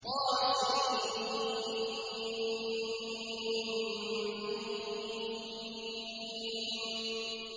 طسم